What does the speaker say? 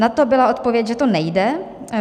Na to byla odpověď, že to nejde.